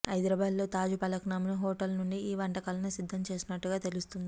హైదరాబాద్లో తాజ్ ఫలక్నుమా హోటల్ నుంచి ఈ వంటకాలను సిద్ధం చేసినట్టు తెలుస్తోంది